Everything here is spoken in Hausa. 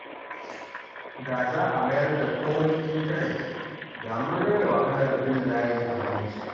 Da za a mayar da komai intanet, da mun rage wahalar bin layi a banki